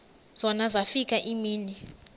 zona zafika iimini